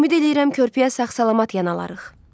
Ümid eləyirəm körpəyə sağ-salamat yanalarıq.